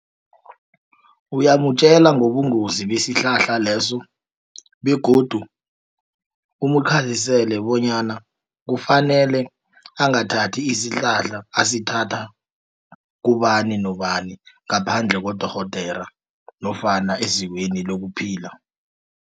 Uyamtjela ngobungozi isihlahla leso, begodu umkhazisele bonyana kufanele angathathi isihlahla asithathi kubani nobani, ngaphandle kodorhodera nofana ezikweni lokuphila.